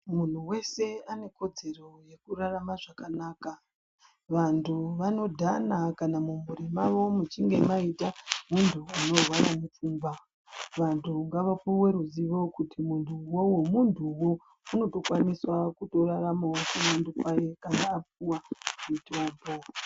Muntu wese ane kodzero yekurarama zvakanaka. Vantu vanodhana kana mumhuri mwavo muchinge mwaita muntu unorwara ngepfungwa. Vantu ngavapuwe ruzivo kuti muntu uwowo muntuwo. Unotokwanisawo kuraramawo ndaramo kwayo kana apuwa mutombo.